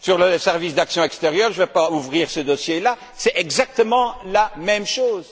Sur le service d'actions extérieures je ne vais pas ouvrir ce dossier là c'est exactement la même chose.